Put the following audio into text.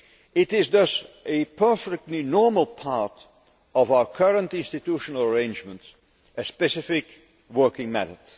It is thus a perfectly normal part of our current institutional arrangements, a specific working method.